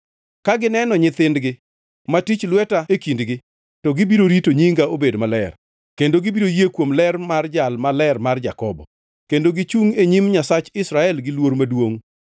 Ka gineno nyithindgi ma tich lweta e kindgi, to gibiro rito nyinga obed maler, kendo gibiro yie kuom ler mar Jal Maler mar Jakobo, kendo gichungʼ e nyim Nyasach Israel gi luor maduongʼ.